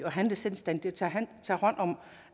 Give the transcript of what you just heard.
og handle selvstændigt at tage hånd om